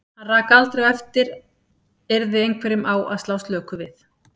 Hann rak aldrei á eftir yrði einhverjum á að slá slöku við.